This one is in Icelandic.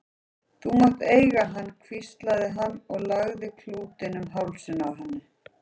Þú mátt eiga hann hvíslaði hann og lagði klútinn um hálsinn á henni.